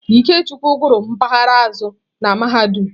Ikechukwu gụrụ mpaghara azụ̀ na mahadum.